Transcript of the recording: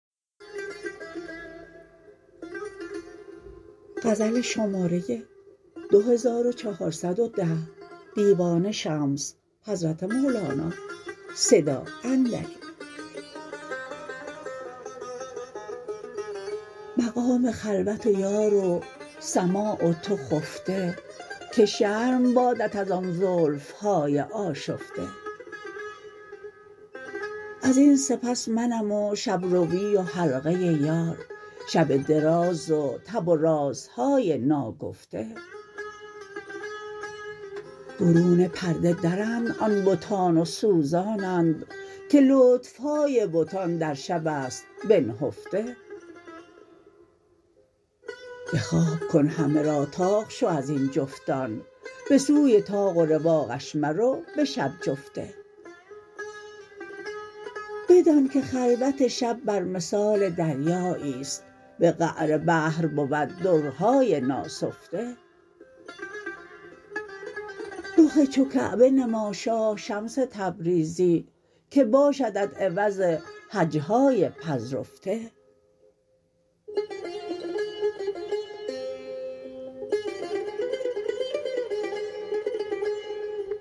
مقام خلوت و یار و سماع و تو خفته که شرم بادت از آن زلف های آشفته از این سپس منم و شب روی و حلقه یار شب دراز و تب و رازهای ناگفته برون پرده درند آن بتان و سوزانند که لطف های بتان در شب است بنهفته به خواب کن همه را طاق شو از این جفتان به سوی طاق و رواقش مرو به شب جفته بدانک خلوت شب بر مثال دریایی است به قعر بحر بود درهای ناسفته رخ چو کعبه نما شاه شمس تبریزی که باشدت عوض حج های پذرفته